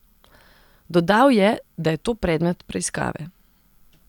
Dodal je, da je to predmet preiskave.